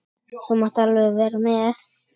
Þú mátt alveg vera með.